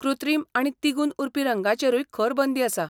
कृत्रिम आनी तिगून उरपी रंगांचेरूय खर बंदी आसा!